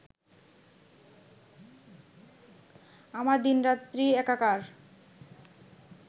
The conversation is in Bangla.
আমার দিনরাত্রি একাকার